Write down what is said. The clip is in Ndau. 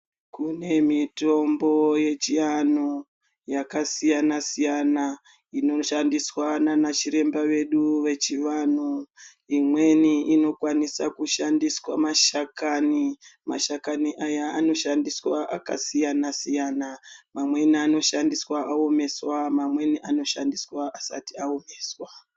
Kune mitombo yechianhu yakasiyana-siyana inoshandiswa naana chiremba vedu vechivanhu. Imweni inokwanisa kushandiswa mashakani. Mashakani aya anoshandiswa akasiyana-siyana. Mamweni anoshandiswa aomeswa mamweni anoshandiswa asati aomeswa.